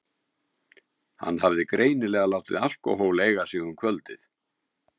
Hann hafði greinilega látið alkóhól eiga sig um kvöldið.